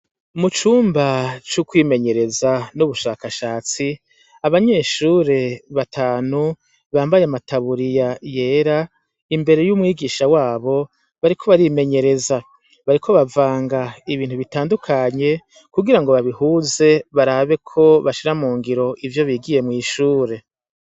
Mu cumba c'ukwimenyereza n'ubushakashatsi abanyeshure batanu bambaye amataburiya yera imbere y'umwigisha wabo bariko barimenyereza bariko bavanga ibintu bitandukanye kugira ngo babihuze barabe ko bashira mu ngiro ivyo bigiye mw'ihure ure.